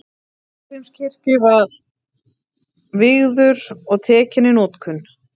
Hallgrímskirkju var vígður og tekinn í notkun.